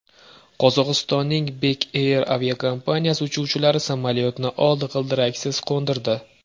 Qozog‘istonning Bek Air aviakompaniyasi uchuvchilari samolyotni old g‘ildiraksiz qo‘ndirdi .